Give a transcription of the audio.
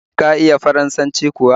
Shin ka iya Faransanci kuwa?